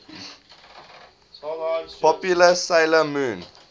popular 'sailor moon